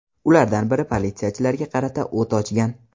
Ulardan biri politsiyachilarga qarata o‘t ochgan.